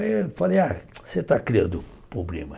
Aí eu falei, ah, você está criando problema.